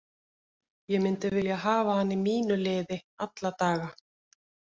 Ég myndi vilja hafa hann í mínu liði alla daga.